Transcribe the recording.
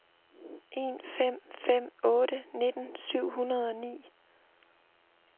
en fem fem otte nitten syv hundrede og ni